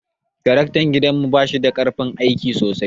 Tarakta gidan mu bashida karfin aiki sosai.